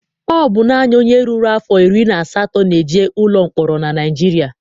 Ọ bụ naanị onye ruru afọ iri na asatọ na-eje ụlọ mkpọrọ na Naịjirịa.